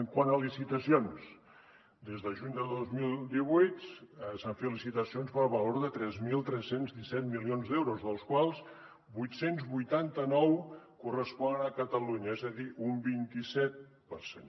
quant a licitacions des de juny de dos mil divuit s’han fet licitacions per valor de tres mil tres cents i disset milions d’euros dels quals vuit cents i vuitanta nou corresponen a catalunya és a dir un vint i set per cent